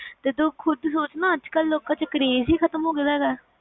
ਤੂੰ ਖੁਦ ਸੋਚ ਕ ਲੋਕ ਚ ਅੱਜ ਕਲ craze ਹੀ ਖਤਮ ਹੋਗਿਆ ਦਾ